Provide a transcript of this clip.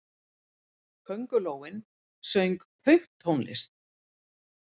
Köngulóin söng pönktónlist!